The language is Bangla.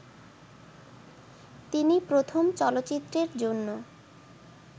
তিনি প্রথম চলচ্চিত্রের জন্য